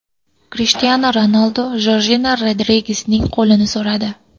Krishtianu Ronaldu Jorjina Rodrigesning qo‘lini so‘radi.